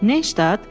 Nəşstat?